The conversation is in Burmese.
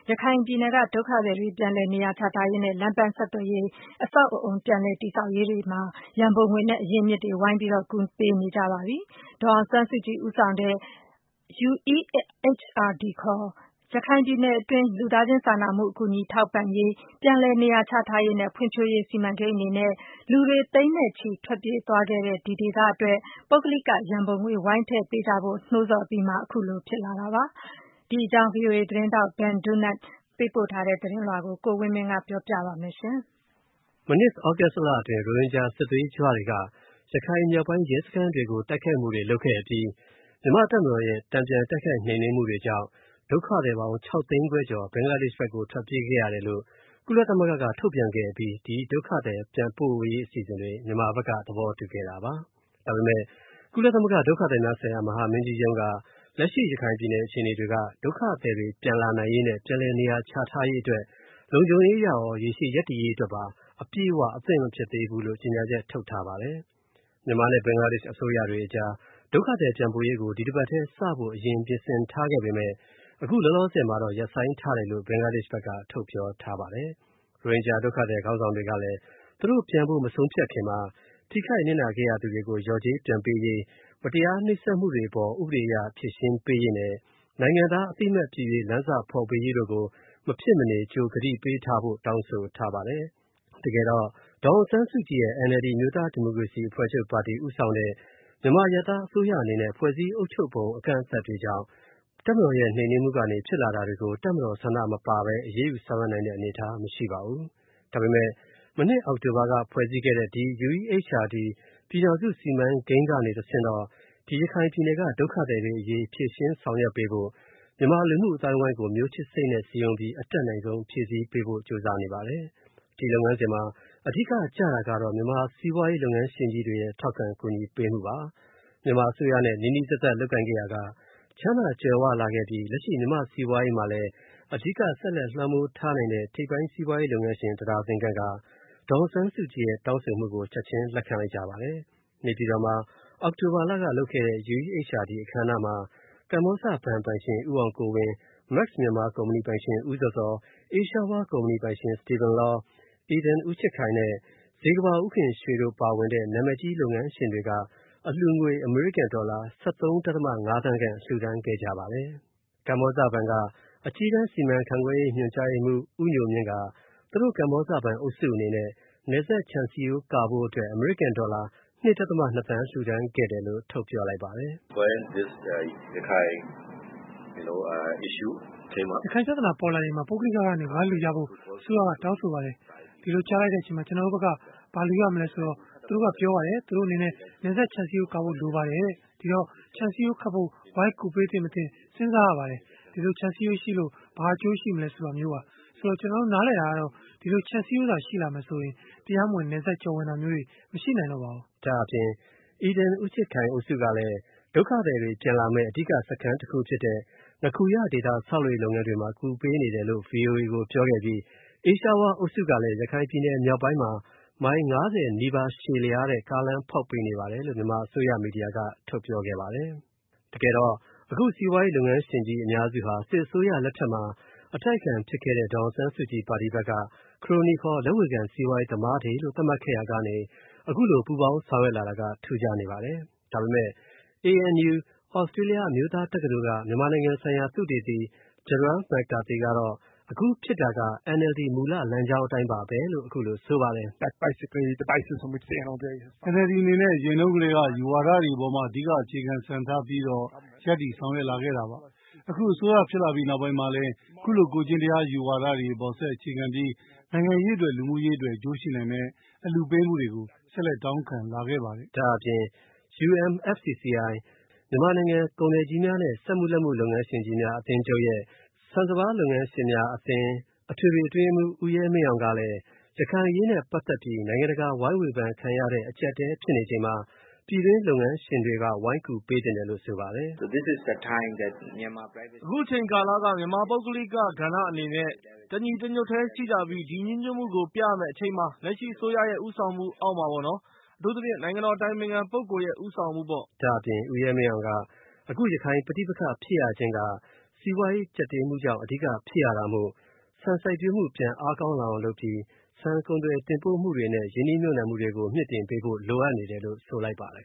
ရခိုင်ပြည်နယ်က ဒုက္ခသည်တွေ ပြန်လည် နေရာချထားရေးနဲ့ လမ်းပန်းဆက်သွယ်ရေး အဆောက်အအုံ ပြန်လည် တည်ဆောက်ရေး အတွက် ရန်ပုံငွေနဲ့ အရင်းအမြစ်တွေ ဝိုင်းကူပေးနေကြပါပြီ။ မြန်မာအစိုးရကို လက်တွေ့ဦးဆောင်နေတဲ့ ဒေါ်အောင်ဆန်းစုကြည် ဦးဆောင်ထားတဲ့ UEHRD ခေါ် ရခိုင်ပြည်နယ်တွင်း လူသားချင်းစာနာမှု အကူအညီထောက်ပံ့ရေး၊ ပြန်လည် နေရာချထားရေးနဲ့ ဖွံ့ဖြိုးရေး စီမံကိန်းအနေနဲ့ လူတွေ သိန်းတွေနဲ့ချီ ထွက်ပြေးသွားခဲ့တဲ့ ဒီဒေသအတွက် ပုဂ္ဂလိကရံပုံငွေ ဝိုင်းထဲ့ပေးကြဖို့ နှိုးဆော်အပြီး ခုလိုဖြစ်လာတာပါ။ ဒီအကြောင်း VOA သတင်းထောက် Ben Dunant သတင်းပို့ထားတာကို ကိုဝင်းမင်းကပြောပြပေးမှာပါ။ မနှစ် သြဂုတ်လအတွင်း ရိုဟင်ဂျာ စစ်သွေးကြွတွေက ရခိုင်မြောက်ပိုင်း ရဲစခန်းတွေကို တိုက်ခိုက်ခဲ့အပြီး မြန်မာ့ တပ်မတော်ရဲ့ တန်ပြန်တိုက်ခိုက် နှိမ်နင်းမှုတွေကြောင့် ဒုက္ခ သည်ပေါင်း ၆ သိန်းခွဲကျော် ဘင်္ဂလားဒေရှ့် ဘက်ကို ထွက်ပြေးခဲ့ရတယ်လို့ ကုလ သမဂ္ဂ က ထုတ်ပြန်ခဲ့ အပြီး ဒီဒုက္ခသည် ပြန်ပို့ရေး အစီအစဉ်တွေ မြန်မာဘက်က သဘောတူခဲ့ တာပါ။ ဒါပေမယ့် ကုလသမဂ္ဂ ဒုက္ခသည်များဆိုင်ရာ မဟာမင်းကြီးရုံးက လက်ရှိ ရခိုင်ပြည် နယ် အခြေအနေက ဒုက္ခသည်တွေ ပြန်လာနိုင်ရေးနဲ့ ပြန်လည်နေရာချထားရေး အတွက် လုံခြုံရေး အရရော ရေရှည် ရပ်တည်ရေး အတွက်ပါ အပြည့်အ၀ အသင့် မဖြစ်သေးဘူးလို့ ကြေညာချက် ထုတ်ထားပါတယ်။ မြန်မာနဲ့ ဘင်္ဂလားဒေရှ့် အစိုးရတွေကြား ဒုက္ခသည် ပြန်ပို့ရေးကို ဒီတပတ်ထဲမှာစဖို့ အရင် ပြင်ဆင်ထားခဲ့ပေမယ့် အခုလောလောဆယ်မှာတော့ ရပ်ဆိုင်းထားတယ်လို့ ဘင်္ဂလားဒေ့ရှ် ဘက်က ထုတ်ပြောထားပါတယ်။ ရိုဟင်ဂျာဒုက္ခသည် ခေါင်းဆောင်တွေကလည်း သူတို့ ပြန်ဖို့မဆုံးဖြတ်ခင်မှာ ထိခိုက်နစ်နာ ခဲ့ရသူတွေကို လျော်ကြေး ပြန်ပေးရေး၊ မတရား နှိပ်စက်မှုတွေ အပေါ် ဥပဒေ အရ ဖြေရှင်း ပေးရေးနဲ့ နိုင်ငံသား အသိအမှတ်ပြုရေး လမ်းစဖော်ပေးရေးတို့ကို မဖြစ်မနေ ကြို ကတိပေး ထားဖို့ တောင်းဆိုထားပါတယ်။ တကယ်တော့ ဒေါ်အောင်ဆန်းစုကြည်ရဲ့ NLD အမျိုးသား ဒီမိုကရေစီ အဖွဲ့ချုပ် ပါတီ ဦးဆောင်တဲ့ မြန်မာ အရပ်သား အစိုးရအနေနဲ့ ဖွဲ့စည်းအုပ်ချုပ်ပုံ အကန့်အသတ်တွေ ကြောင့် တပ်မတော်ရဲ့ နှိမ်နင်းမှုကနေ ဖြစ်လာတာတွေကို တပ်မတော် ဆန္ဒမပါဘဲ အရေးယူ ဆောင်ရွက်နိုင်တဲ့ အနေအထား မရှိပါဘူး။ ဒါပေမယ့် မနှစ် အောက်တိုဘာက ဖွဲ့စည်းခဲ့တဲ့ ဒီ UEHRD ပြည်ထောင်စု စီမံကိန်းကနေ တဆင့်တော့ ရခိုင်ပြည်နယ်က လူတွေအရေး ဖြေရှင်း ဆောင်ရွက်ပေးဖို့ မြန်မာ လူမှုအသိုင်းအဝိုင်းကို မျိုးချစ်စိတ်နဲ့ စည်းရုံးပြီး အတတ်နိုင်ဆုံး ဖြည့်ဆည်းပေးဖို့ ကြိုးစားနေပါတယ်။ ဒီလုပ်ငန်းစဉ်မှာ အဓိက ကျတာကတော့ မြန်မာ စီးပွားရေး လုပ်ငန်းရှင်ကြီးတွေရဲ့ ထောက် ခံကူညီပေးမှုပါ။ မြန်မာ အစိုးရနဲ့ နီးနီးစပ်စပ် လုပ်ကိုင်ခဲ့ရာက ချမ်းသာကြွယ်၀ လာပြီး လက်ရှိ မြန်မာ့ စီးပွားရေးမှာလည်း အဓိက ဆက်လက် လွှမ်းမိုးထားနိုင်တဲ့ ထိပ်ပိုင်း စီးပွားရေး လုပ်ငန်းရှင် တဒါဇင်ခန့်က ဒေါ်အောင်ဆန်းစုကြည်ရဲ့တောင်းဆိုမှုကို ချက်ချင်း လက်ခံလိုက်ကြပါတယ်။ နေပြည်တော်မှာ အောက်တိုဘာလက လုပ်ခဲ့တဲ့ UEHRD အခမ်းအနားမှာ ကမ္ဘောဇဘဏ် ပိုင်ရှင် ဦးအောင်ကိုဝင်း၊ မက်စ် မြန်မာ ကုမ္ဗဏီပိုင်ရှင် ဦးဇော်ဇော်၊ အေးရှားဝေါ ကုမ္ဗဏီ ပိုင်ရှင် စတီဗင်လော၊ ဧဒင် ဦးချစ်ခိုင်နဲ့ ဇေကမ္ဘာ ဦးခင်ရွှေတို့ ပါဝင်တဲ့ နာမည်ကြီး စီးပွားရေး လုပ်ငန်းရှင်တွေက အလှုငွေ အမေရိကန် ဒေါ်လာ ၁၃.၅ သန်းခန့် လှုဒါန်းခဲ့ကြပါတယ်။ ကမ္ဘောဇဘဏ်က အကြီးတန်း စီမံခန့်ခွဲမှု ညွှန်ကြားရေးမှူး ဦးညိုမြင့်က သူတို့ ကမ္ဘောဇ ဘဏ် အုပ်စု အနေနဲ့ နယ်စပ်ခြံစည်ရိုးကာဖို့ အမေရိကန် ဒေါ်လာ ၂.၂ သန်း လှူဒါန်း ခဲ့တယ်လို့ ထုတ်ပြောခဲ့ပါတယ်။ “ရခိုင်ပြဿနာတက်လာချိန်မှာ ပုဂ္ဂလိကကဏ္ဍကနေ ဝိုင်းလှူပေးကြဖို့ အစိုးရက တောင်း ဆိုခဲ့ပါတယ်။ အဲ့ဒိလို ကြားလိုက်တဲ့အချိန်မှာ ကျွန်တော်တို့ဘက်က ဘာလှူပေးရ မလဲ ပေါ့နော်။ သူတို့ဘက်ကပြောပါတယ်။ သူတို့အနေနဲ့ နယ်စပ်ခြံစည်းရိုးကာဖို့ လိုတယ်တဲ့။ အဲ့ဒီတော့ ဒီခြံစည်းရိုးခတ်ဖို့ ဝိုင်းကူပေးသင့်၊ မသင့် စဉ်းစားရတာပေါ့နော်။ ဒီခြံစည်းရိုး ရှိလာလို့ ဘာအကျိုးရှိမလဲပေါ့။ ကျွန်တော်တို့ နားလည်တာက ဒီခြံစည်းရိုးရှိလာရင် တရားမဝင် နယ်စပ်ကျော်ဝင်တာတွေ မရှိနိုင်တော့ဘူးပေါ့နော်။” ဒါ့အပြင် ဧဒင် ဦးချစ်ခိုင် အုပ်စုကလည်း ဒုက္ခသည်တွေ ပြန်လာမယ့် အဓိက စခန်းတခု ဖြစ်တဲ့ ငခူရ ဒေသ ဆောက်လုပ်ရေး လုပ်ငန်းတွေမှာ ကူပေးနေတယ်လို့ ဗွီအိုအေကို ပြောခဲ့ပြီး အေးရှားဝေါလ် အုပ်စုကလည်း ရခိုင်ပြည်နယ် မြောက်ပိုင်းမှာ မိုင် ၅၀ နီးပါး ရှည်လျားတဲ့ ကားလမ်းဖောက်ပေးနေပါတယ်လို့ မြန်မာ အစိုးရ မီဒီယာက ထုတ်ပြောခဲ့ ပါတယ်။ တကယ်တော့ အခု စီးပွားရေး လုပ်ငန်းရှင်ကြီး အများစုဟာ စစ်အစိုးရ လက်ထက်မှာ အတိုက်အခံ ဖြစ်ခဲ့တဲ့ ဒေါ်အောင်ဆန်းစုကြည် ပါတီဘက်က ခရိုနီခေါ် လက်ဝေခံ စီးပွားရေး သမားတွေလို့ သတ်မှတ်ခဲ့ရာကနေ အခုလို ပူးပေါင်းဆောင်ရွက်လာတာက ထူးခြားနေပါတယ်။ ဒါပေမယ့် ANU သြစတေးလျ အမျိုးသား တက္ကသိုလ်က မြန်မာနိုင်ငံဆိုင်ရာ သုတေသီ ဂျရတ် မက်ကာသီ ကတော့ အခုဖြစ်တာက NLD မူလ လမ်းကြောင်း အတိုင်းပါဘဲလို့ အခုလို ဆိုပါတယ်။ “NLD အနေနဲ့ အရင်တုံးကတည်းက အယူဝါဒတွေအပေါ် အဓိက အခြေခံ စံထားပြီး ရပ်တည ်ဆောင်ရွက်လာခဲ့တာပါ။ အခု အစိုးရဖြစ်လာပြီးတဲ့ နောက်ပိုင်းမှာလည်း ခုလို ကိုယ်ကျင့်တရား အယူဝါဒအပေါ် ဆက်အခြေခံပြီး နိုင်ငံရေးအတွက် လူမှုရေးအတွက် အကျိုးရှိနိုင်မယ့် အလှူပေးမှုတွေကို ဆက်လက် တောင်းခံလာခဲ့ပါတယ်။ ” ဒါ့အပြင် UMFCCI မြန်မာနိုင်ငံ ကုန်သည်ကြီးများနဲ့ စက်မှုလက်မှု လုပ်ငန်းရှင်ကြီးများ အသင်းချုပ်ရဲ့ ဆန်စပါး လုပ်ငန်းရှင်များအသင်း အထွေထွေ အတွင်းရေးမှူး ဦးရဲမင်းအောင်ကလည်း ရခိုင် အရေးနဲ့ပတ်သက်ပြီး နိုင်ငံတကာ ဝိုင်းဝေဖန်ခံရတဲ့ အကြပ်အတည်း ဖြစ်နေချိန်မှာ ပြည်တွင်း လုပ်ငန်းရှင်တွေက ဝိုင်းကူပေးသင့်တယ်လို့ ဆိုပါတယ်။ “အခု အချိန်ကာလ မြန်မာပုဂ္ဂလိက ကဏ္ဍအနေနဲ့ တညီတညွတ်တည်းရှိကြပြီး ဒီညီညွတ်မှုကို ပြရမယ့်အချိန်ပါ၊ လက်ရှိအစိုးရရဲ့ ဦးဆောင်မှုအောက်မှာပေါ့နော်။ အထူး သဖြင့် နိုင်ငံတော် အတိုင်ပင်ခံ ပုဂ္ဂိုလ်ရဲ့ ဦးဆောင်မှုပေါ့။ ” ဒါ့အပြင် ဦးရဲမင်းအောင်က အခု ရခိုင် ပဋိပက္ခဖြစ်ရခြင်းက စီးပွားရေး ကြပ်တည်းမှုကြောင့် အဓိက ဖြစ်ရတာမို့ ဆန်စိုက်ပျိုးမှု ပြန်အားကောင်းလာအောင် လုပ်ပြီး ဆန်ကုန်သွယ် တင်ပို့မှုတွေနဲ့ ရင်းနှီးမြှုပ်နှံမှုတွေကို မြှင့်တင်ပေးဖို့ လိုအပ်နေတယ်လို့ ဆိုလိုက်ပါတယ်